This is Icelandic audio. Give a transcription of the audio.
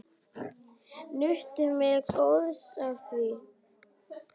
Nutum við góðs af því.